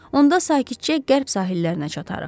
Onda sakitcə qərb sahillərinə çatarıq.